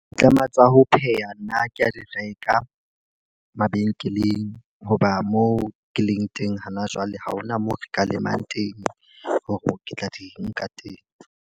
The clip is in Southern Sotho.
Ditlama tsa ho pheha nna ke a di reka mabenkeleng. Hoba moo ke leng teng ha na jwale ha hona moo re ka lemang teng hore ke tla di nka teng.